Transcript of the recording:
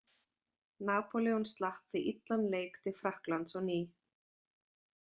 Napóleon slapp við illan leik til Frakklands á ný.